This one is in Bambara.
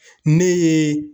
Ne ye